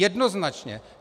Jednoznačně.